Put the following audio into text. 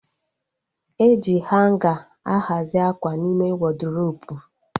E ji hanga a hazi akwa n'ime wọdrobu